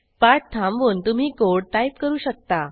पाठ थांबवून तुम्ही कोड टाईप करू शकता